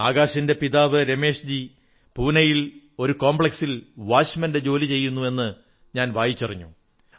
അകാശിന്റെ പിതാവ് രമേശ്ജി പൂണയിൽ ഒരു കോംപ്ലക്സിൽ കാവൽക്കാരന്റെ ജോലി ചെയ്യുന്നു എന്ന് ഞാൻ വായിച്ചറിഞ്ഞു